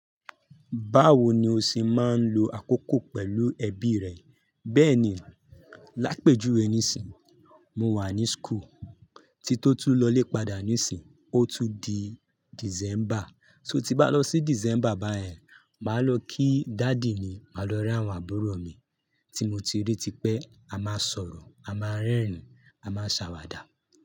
Báwo ni o ṣe máa ń lo àkókò pẹ̀lú ẹbí rẹ? Bẹ́ẹ̀ni, lápèjúwe níìsín, mo wà ní school, tí n tó tún lọ ilè padà níìsín, ó tún di December. Tí n ba lọ ní december bẹyẹn maa lọ ki daddy mi, maa lọ rí àwọn àbúrò mi, tí mo ti ri tipẹ, a máa sọrọ, a máa rẹrin, a maa ṣawada.